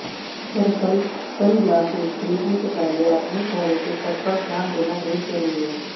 दरअसल सनग्लासेज खरीदने से पहले अपने चेहरे के कट पर ध्यान देना बेहद जरूरी है